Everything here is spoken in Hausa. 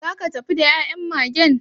Zaka tafi da ya'yan Magen?